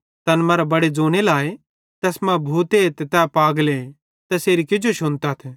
तैन मरां बड़े ज़ोने लाए तैस मां भूते ते तै पागले तैसेरी किजो शुनातथ